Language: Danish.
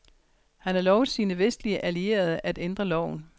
Han har lovet sine vestlige allierede at ændre loven.